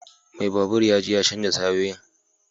Mai babur ya je ya canza tayoyin.